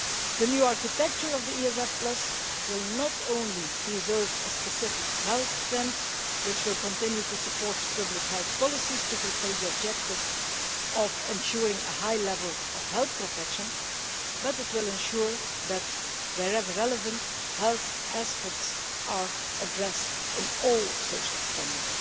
The new architecture of the ESF will not only preserve a specific health strand, which will continue to support public health policies to fulfil the objective of ensuring a high level of health protection, but will also ensure that, wherever they are relevant, health aspects are addressed in all social spending.